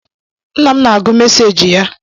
Nna m na-agụ meseji ya